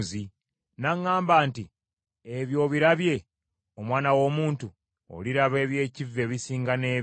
N’aŋŋamba nti, “Ebyo obirabye, omwana w’omuntu? Oliraba eby’ekivve ebisinga n’ebyo.”